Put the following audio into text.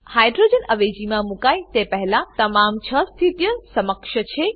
hydrogen અવેજીમાં મુકાય તે પહેલા તમામ છ સ્થિતિઓ સમકક્ષ છે